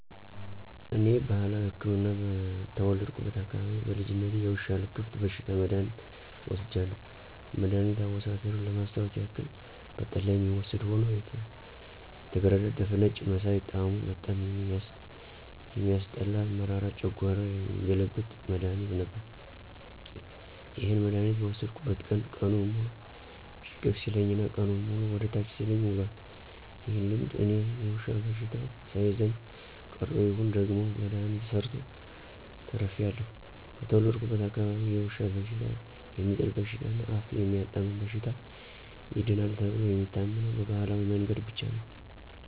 እኔ ባህላዊ ህክምና በተወለድኩበት አካባቢ በልጅነቴ የውሻ ልክፍት በሽታ መድሐኒት ወስጃለሁ። መድኋኒት አወሳሰዱን ለማስታወስ ያክል በጠላ የሚወሰድ ሆኖ የተገረዳደፈ ነጭ መሳይ ጣሙ በጣም የሚያስጠላ መራራ ጨንጓራ የሚገለብጥ መድሐኒት ነበር። ይህንን መድሐኒት በወሰድኩበት ቀን ቀኑን ሙሉ ሽቅብ ሲለኝ እና ቀኑንን ሙሉ ወደ ታች ሲለኝ ውሏል። ይህ ልምድ እኔን የዉሻ በሽተው ሳይዘኝ ቀርቶ ይሁን ወይም ደግሞ መድሐኒቱ ሰርቶ ተርፌአለሁ። በተወለድኩበት አካባቢ የውሻ በሽታ፣ የሚጥል በሽታ እና አፍ የሚያጣምም በሽታ ይድናል ተብሎ የሚታመነው በባህላዊ መንገድ ብቻ ነው።